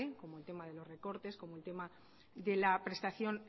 como el tema de los recortes como el tema de la prestación